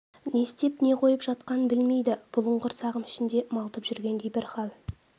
не істеп не қойып жатқанын білмейді бұлыңғыр сағым ішінде малтып жүргендей бір хал